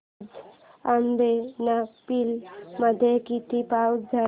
आज अब्बनपल्ली मध्ये किती पाऊस झाला